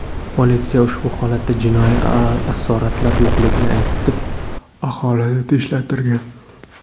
Politsiya ushbu holatda jinoiy asoratlar yo‘qligini aytib, aholini tinchlantirgan.